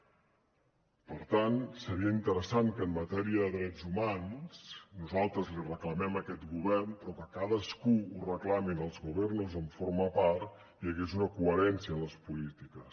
per tant seria interessant que en matèria de drets humans nosaltres l’hi reclamem a aquest govern però que cadascú ho reclami als gobiernos on forma part hi hagués una coherència en les polítiques